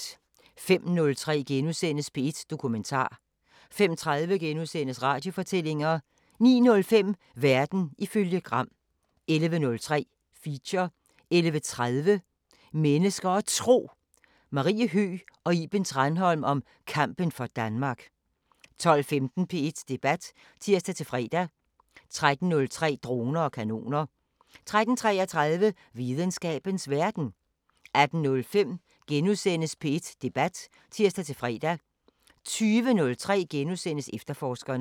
05:03: P1 Dokumentar * 05:30: Radiofortællinger * 09:05: Verden ifølge Gram 11:03: Feature 11:30: Mennesker og Tro: Marie Høgh og Iben Tranholm om kampen for Danmark 12:15: P1 Debat (tir-fre) 13:03: Droner og kanoner 13:33: Videnskabens Verden 18:05: P1 Debat *(tir-fre) 20:03: Efterforskerne *